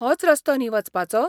होच रस्तो न्ही वचपाचो?